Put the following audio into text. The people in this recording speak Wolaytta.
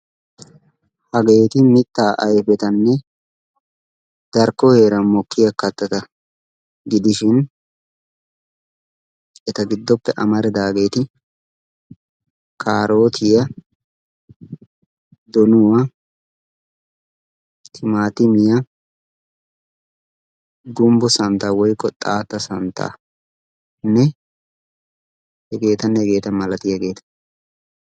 Hageeti mittaa ayfetanne darkko heeran mokkiyaa kattata gidishin eta giddooppe amaridaageti kaarotiyaa donuwaa timaatimiyaa gumbbo santtaa woykko xaatta santtaa hegeetanne hegeeta malatiyaageta.